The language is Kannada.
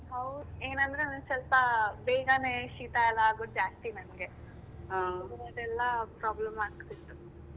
ಹೌದು ಏನಂದ್ರೆ ನಂಗ ಸ್ವಲ್ಪ ಬೇಗಾನೆ ಶೀತಾ ಎಲ್ಲ ಆಗುವುದು ಜಾಸ್ತಿ ನಂಗೆ problem ಆಗ್ತಿತ್ತು.